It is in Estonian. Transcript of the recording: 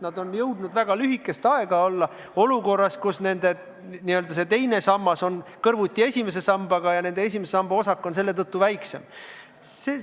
Nad on jõudnud väga lühikest aega olla olukorras, kus nende teine sammas on kõrvuti esimese sambaga ja nende esimese samba osak on selle tõttu väiksem.